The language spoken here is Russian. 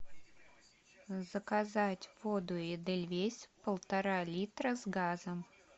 заказать воду эдельвейс полтора литра с газом